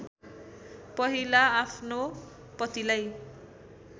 पहिला आफ्नो पतिलाई